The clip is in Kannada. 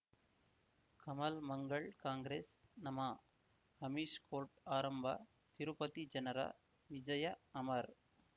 ಕಮಲ್ ಮಂಗಳ್ ಕಾಂಗ್ರೆಸ್ ನಮಃ ಅಮಿಷ್ ಕೋರ್ಟ್ ಆರಂಭ ತಿರುಪತಿ ಜನರ ವಿಜಯ ಅಮರ್